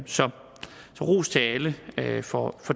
så ros til alle for